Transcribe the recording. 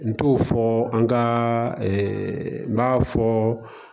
N t'o fɔ an ka n y'a fɔ